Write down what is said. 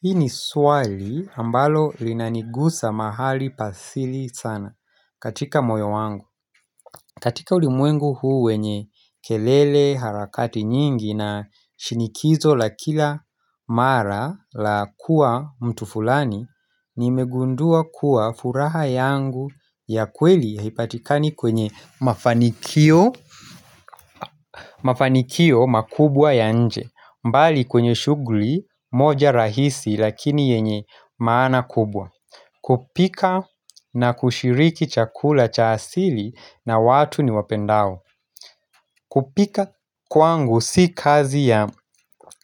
Hii ni swali ambalo linanigusa mahali pa asili sana katika moyo wangu katika ulimwengu huu wenye kelele harakati nyingi na shinikizo la kila mara la kuwa mtu fulani nimegundua kuwa furaha yangu ya kweli haipatikani kwenye mafanikio Mafanikio makubwa ya nje mbali kwenye shugli moja rahisi lakini yenye maana kubwa kupika na kushiriki chakula cha asili na watu ni wapendao kupika kwangu si kazi ya